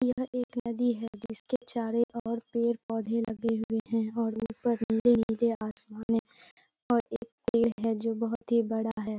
यह एक नदी है जिसके चारों ओर पेड़-पौधे लगे हुए हैं और ऊपर नीले-नीले आसमान है और एक पेड़ है जो बहुत ही बड़ा है ।